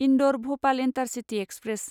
Indore Bhopal intercity express